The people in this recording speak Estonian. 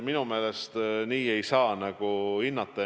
Minu meelest nii ei saa hinnata.